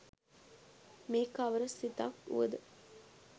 මේ කවර සිතක් වුවද